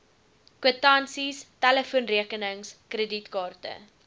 kwitansies telefoonrekenings kredietkaarte